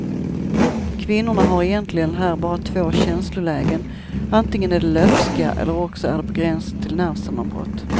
Kvinnorna har egentligen här bara två känslolägen, antingen är de löpska eller också är de på gränsen till nervsammanbrott.